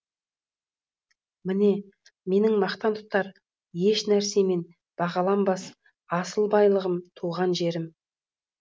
міне менің мақтан тұтар ешнәрсемен бағаланбас асыл байлығым туған жерім